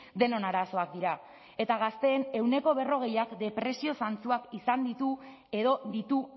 denon arazoak dira eta gazteen ehuneko berrogeiak depresio zantzuak izan ditu edo ditu